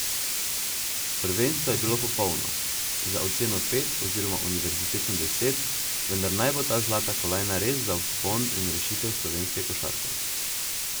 Prvenstvo je bilo popolno, za oceno pet oziroma univerzitetno deset, vendar naj bo ta zlata kolajna res za vzpon in rešitev slovenske košarke.